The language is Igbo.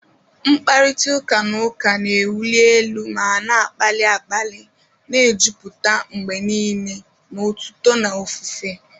Mkparịta ụka na ụka na-ewuli elu ma na-akpali akpali, na-ejupụta mgbe niile na otuto na ofufe.